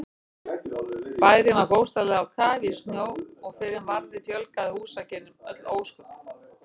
Bærinn var bókstaflega á kafi í snjó og fyrr en varði fjölgaði húsakynnum öll ósköp.